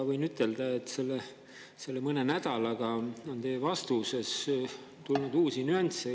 Võin ütelda, et mõne nädalaga on teie vastustesse tulnud uusi nüansse.